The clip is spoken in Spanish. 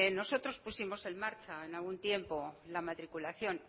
nosotros pusimos en marcha en algún tiempo la matriculación